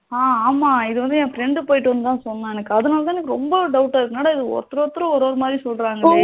ஆஹ் ஆமா இது வந்து என் friend போய்ட்டு வந்து தான் சொன்னான் எனக்கு அதுல இருந்து தான் ரொம்ப doubt ஆ இருக்கு என்னடா இது ஒருதர் ஒருதர் ஒரு ஒரு மாதிரி சொல்லுறங்களே